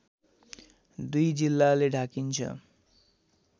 दुई जिल्लाले ढाकिन्छ